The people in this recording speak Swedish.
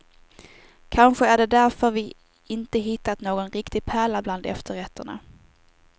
Kanske är det därför vi inte hittat någon riktig pärla bland efterrätterna.